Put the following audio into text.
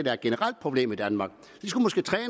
er et generelt problem i danmark